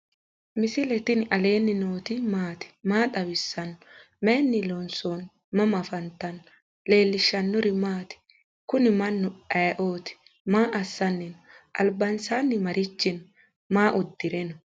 misile tini alenni nooti maati? maa xawissanno? Maayinni loonisoonni? mama affanttanno? leelishanori maati? kuuni manu ayioti? maa asni no?albansani marichi no?maa udire no?